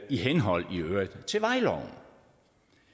i henhold til vejloven